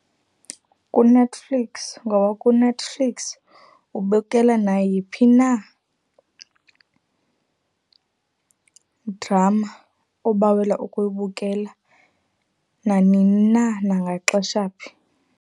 KuNetflix. Ngoba kuNetflix ubukela nayiphi na idrama obawela ukuyibukela nanini na nangaxesha phi.